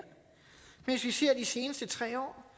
seneste tre år